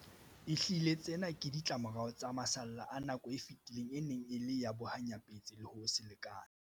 Ehlile, tsena ke ditlamorao tsa masalla a nako e fetileng e neng e le ya bohanyapetsi le ho se lekane.